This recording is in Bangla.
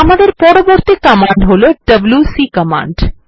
আমদের পরবর্তী কমান্ড হল ডব্লিউসি কমান্ড